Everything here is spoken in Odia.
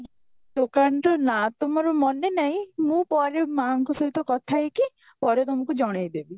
ଦୋକାନ ତ ନା ତ ମୋର ମନେ ନାଇଁ ମୁଁ ପରେ ମା ଙ୍କ ସହ କଥା ହେଇକି ପରେ ତମକୁ ଜଣେଇ ଦେବି